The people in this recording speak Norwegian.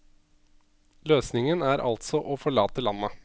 Løsningen er altså å forlate landet.